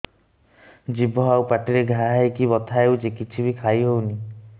ଜିଭ ଆଉ ପାଟିରେ ଘା ହେଇକି ବଥା ହେଉଛି କିଛି ବି ଖାଇହଉନି